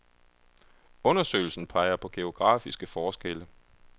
Undersøgelsen peger på geografiske forskelle.